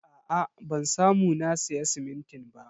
Aa ban samu na siya simintin ba.